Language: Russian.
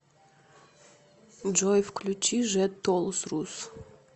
джой включи жет тоолз рус